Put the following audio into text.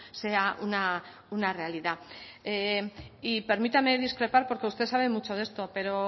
sea una realidad y permítame discrepar porque usted sabe mucho de esto pero